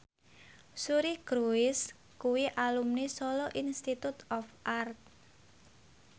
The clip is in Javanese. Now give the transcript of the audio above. Suri Cruise kuwi alumni Solo Institute of Art